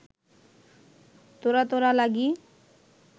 তোরা তোরা লাগি